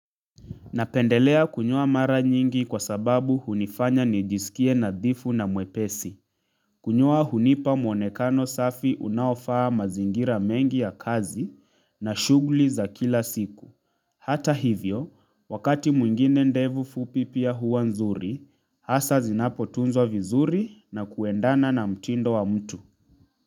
Napendelea kunyoa mara nyingi kwa sababu hunifanya nijisikie nadhifu na mwepesi. Kunyoa hunipa mwonekano safi unaofaa mazingira mengi ya kazi na shughuli za kila siku. Hata hivyo, wakati mwingine ndevu fupi pia huwa nzuri, hasa zinapotunzwa vizuri na kuendana na mtindo wa mtu.